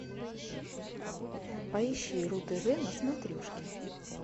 поищи ру тв на смотрешке